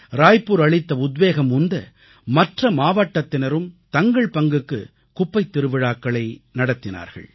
ராய்புர் அளித்த உத்வேகம் உந்த மற்ற மாவட்டத்தினரும் தங்கள் பங்குக்கு குப்பைத் திருவிழாக்களை நடத்தினார்கள்